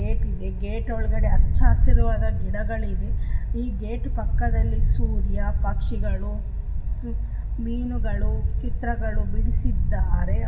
Gate gate ಒಳಗೆ ಹಚ್ಚಹಸಿರುವಾದ ಗಿಡಗಳಿದೆ ಇ ಗೇಟ್ ಪಕ್ಕದಲ್ಲಿ ಸೂರ್ಯ ಪಕ್ಷಿಗಳು ಹಂ ಮೀನುಗಳು ಚಿತ್ರಗಳು ಬಿಡಿಸಿದ್ದಾರೆ.